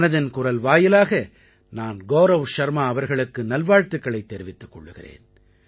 மனதின் குரல் வாயிலாக நான் கௌரவ் ஷர்மா அவர்களுக்கு நல்வாழ்த்துக்களைத் தெரிவித்துக் கொள்கிறேன்